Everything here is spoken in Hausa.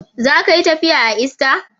Za ka yi tafiya a ista.